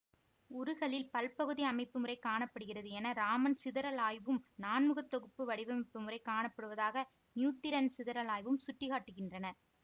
உருகலில் ப்ல்பகுதி அமைப்பு முறை காண படுகிறது என ராமன் சிதறல் ஆய்வும் நான்முகத் தொகுப்பு வடிவமைப்பு முறை காணப்படுவதாக நியூத்திரன் சிதறல் ஆய்வும் சுட்டி காட்டுகின்றன